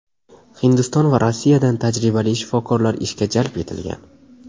Hindiston va Rossiyadan tajribali shifokorlar ishga jalb etilgan.